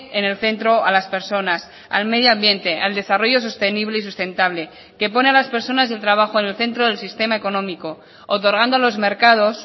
en el centro a las personas al medio ambiente al desarrollo sostenible y sustentable que pone a las personas y el trabajo en el centro del sistema económico otorgando a los mercados